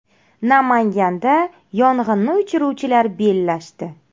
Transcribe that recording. Namanganda yong‘inni o‘chiruvchilar bellashdi.